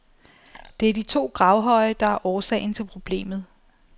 Det er de to gravhøje, der er årsagen til problemet.